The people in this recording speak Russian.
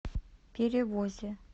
перевозе